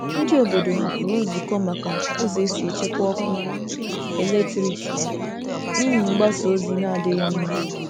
Ndị obodo hapụrụ nzukọ maka ụzọ e si echekwa ọkụ eletrik n'ihi mgbasa ozi n'adịghị mma.